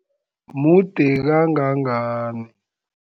Mude kangangani?